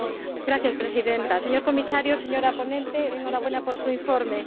Señora Presidenta, señor Comisario, señora ponente, enhorabuena por su informe.